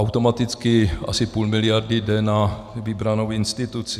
Automaticky asi půl miliardy jde na vybranou instituci.